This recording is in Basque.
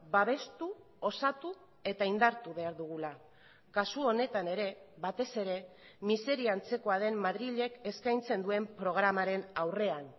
babestu osatu eta indartu behar dugula kasu honetan ere batez ere miseria antzekoa den madrilek eskaintzen duen programaren aurrean